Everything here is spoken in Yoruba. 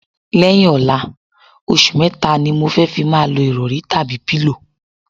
Lẹ̩́yìn ò̩la, os̩ù mé̩ta ni mo fé̩ fi máa lo ìrò̩rí/pílò.